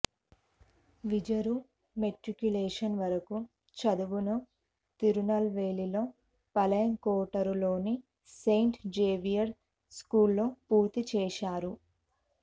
విజరు matriculation వరకు చదువును తిరునల్వేలిలో పలయంకొట్టరులోని సెయింట్ జేవియర్స్ స్కూల్లో పూర్తి చేశారు